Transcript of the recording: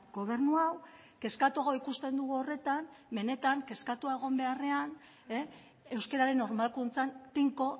gobernu hau kezkatuago ikusten dugu horretan benetan kezkatua egon beharrean euskararen normalkuntzan tinko